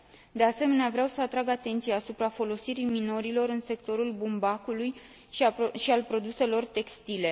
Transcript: De asemenea, vreau să atrag atenția asupra folosirii minorilor în sectorul bumbacului și al produselor textile.